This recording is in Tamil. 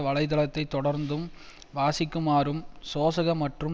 வலை தளத்தை தொடர்ந்தும் வாசிக்குமாறும் சோசக மற்றும்